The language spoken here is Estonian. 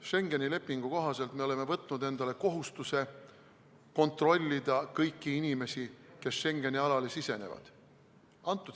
Schengeni lepingu kohaselt oleme võtnud endale kohustuse kontrollida kõiki inimesi, kes Schengeni alale sisenevad.